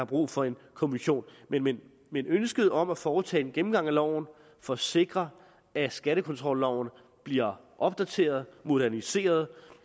brug for en kommission men men ønsket om at foretage en gennemgang af loven for at sikre at skattekontrolloven bliver opdateret moderniseret